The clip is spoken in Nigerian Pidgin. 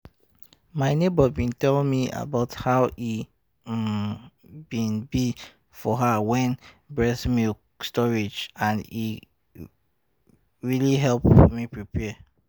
my neighbor been tell me about how e um been be for her with breast milk storage and e really help me prepare